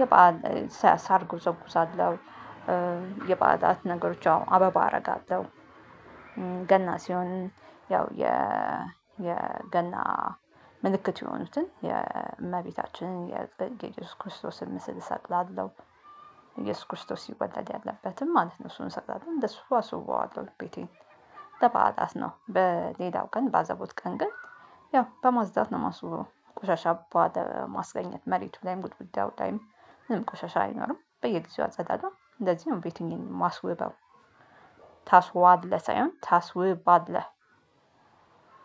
የባዕል ሰ ሳር እጎዘጉዛለሁ። የባዕላት ነገሮች አሁን አበባ አረጋለሁ። ገና ሲሆን ያው የ የገና ምልክት የሆኑትን የእመቤታችንን የእየሱስ ክርስቶስን ምስል እሰቅላለሁ። እየሱስ ክርስቶስ ሲወለድ ያለበትን ማለት ነው። እሱን እሰቅላለሀ እንደሱ አስውበዋለሁ ቤቴን። ለባአላት ነው በሌላው ቀን ባዘቦት ቀን ግን ያው በማፅዳት ነው ማስውበው። ቆሻሻ ባለማስገኘት መሬቱ ላይም ግድግዳው ላይም ምንም ቆሻሻ አይኖርም። በየጊዜው አጸዳሁ እንደዚህ ነው ቤቴን የማስውበው ታስዋለህ ሳይሆን ታስውባለህ